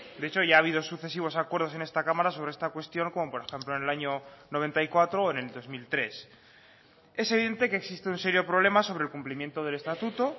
de hecho ya ha habido sucesivos acuerdos en esta cámara sobre esta cuestión como por ejemplo en el año mil novecientos noventa y cuatro o en el dos mil tres es evidente que existe un serio problema sobre el cumplimiento del estatuto